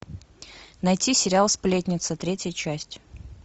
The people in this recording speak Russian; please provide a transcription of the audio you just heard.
найти сериал сплетницы третья часть